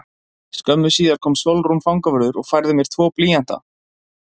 Skömmu síðar kom Sólrún fangavörður og færði mér tvo blýanta.